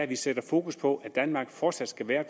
vi sætter fokus på at danmark fortsat skal være